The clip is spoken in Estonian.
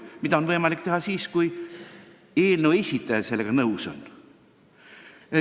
Seda on võimalik teha siis, kui algataja sellega nõus on.